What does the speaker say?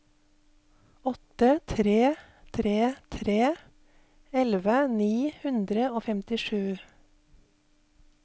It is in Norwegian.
åtte tre tre tre elleve ni hundre og femtisju